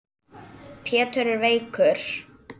Pétur er veikur.